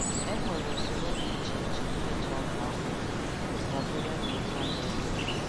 E nwere usoro dị iche iche e ji akọ akpụ dabere n'ụdi ala e nwere